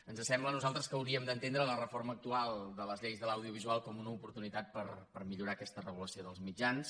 ens sembla a nosaltres que hauríem d’entendre la reforma actual de les lleis de l’audiovisual com una oportunitat per millorar aquesta regulació dels mitjans